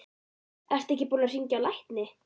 Ertu ekki búinn að hringja á lækni?